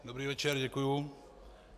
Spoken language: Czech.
Dobrý večer, děkuji.